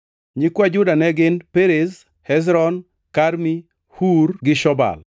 Nyikwa Juda ne gin: Perez, Hezron, Karmi, Hur gi Shobal.